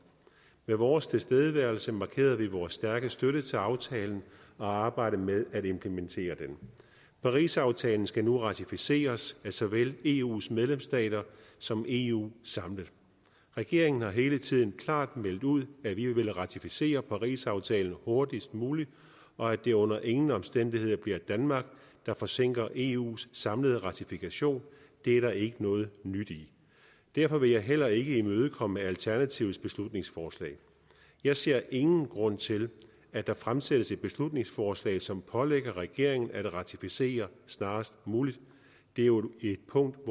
med vores tilstedeværelse markerede vi vores stærke støtte til aftalen og arbejdet med at implementere den parisaftalen skal nu ratificeres af såvel eus medlemsstater som eu samlet regeringen har hele tiden klart meldt ud at vi vil ratificere parisaftalen hurtigst muligt og at det under ingen omstændigheder bliver danmark der forsinker eus samlede ratifikation det er der ikke noget nyt i derfor vil jeg heller ikke imødekomme alternativets beslutningsforslag jeg ser ingen grund til at der fremsættes et beslutningsforslag som pålægger regeringen at ratificere snarest muligt det er jo et punkt